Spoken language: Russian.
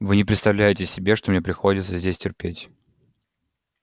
вы не представляете себе что мне приходится здесь терпеть